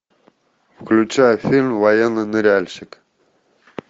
включай фильм военный ныряльщик